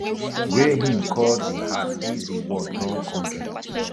wey im call di heart if di war torn kontri